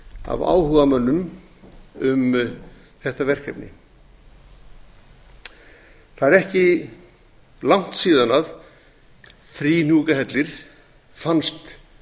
af áhugamönnum um þetta verkefni það er ekki langt síðan þríhnúkahellir fannst